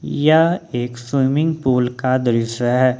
यह एक swimming pool का दृश्य है।